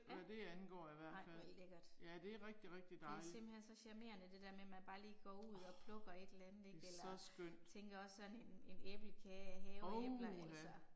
Ja. Ej hvor lækkert. Det er simpelthen så charmerende det der med man bare lige går ud og plukker et eller andet ikke eller tænker også sådan en en æblekage af haveæbler altså